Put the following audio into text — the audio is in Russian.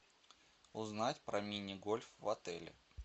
узнать про мини гольф в отеле